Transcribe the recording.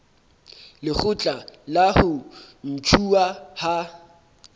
lekgotla la ho ntshuwa ha